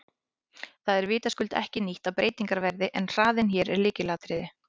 Það er vitaskuld ekki nýtt að breytingar verði en hraðinn er hér lykilatriði.